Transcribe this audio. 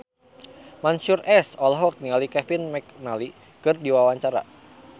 Mansyur S olohok ningali Kevin McNally keur diwawancara